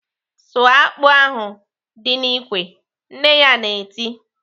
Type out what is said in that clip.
"Sụọ akpụ ahụ dị n'ikwe!" Nne ya na-eti.